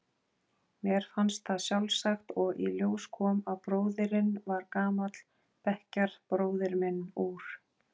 Mér fannst það sjálfsagt og í ljós kom að bróðirinn var gamall bekkjarbróðir minn úr